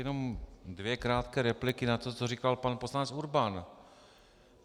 Jenom dvě krátké repliky na to, co říkal pan poslanec Urban.